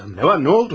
Nə var, nə oldu?